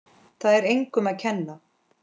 Það er engum að kenna.